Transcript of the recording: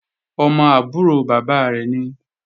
Ọmọ àbúrò bàbá rẹ̀ nìí